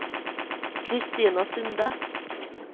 Kristina Sunde